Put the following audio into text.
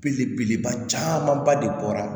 Belebeleba camanba de bɔra